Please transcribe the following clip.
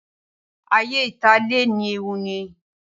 Ayé ìta lè ní ewu nínú.